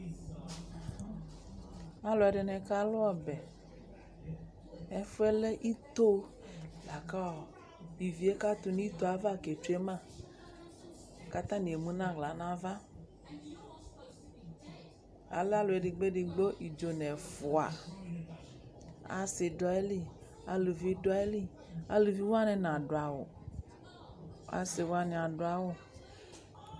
Alʋɛdɩnɩ kalʋ ɔbɛ Ɛfʋ yɛ lɛ ito la kʋ ɔ ivi yɛ katʋ nʋ ito yɛ ava ketsue ma kʋ atanɩ emu nʋ aɣla nʋ ava Alɛ alʋ edigbo-edigbo idzo nʋ ɛfʋ Asɩ dʋ ayili, aluvi dʋ ayili Aluvi wanɩ nadʋ awʋ Asɩ wanɩ adʋ awʋ